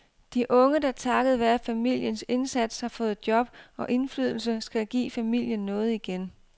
De unge, der takket være familiens indsats har fået job og indflydelse, skal give familien noget igen.